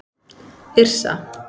Yrsa